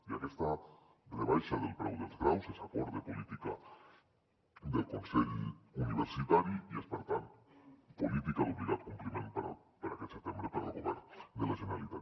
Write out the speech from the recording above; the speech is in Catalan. i aquesta rebaixa del preu dels graus és acord de política del consell universitari i és per tant política d’obligat compliment per a aquest setembre per al govern de la generalitat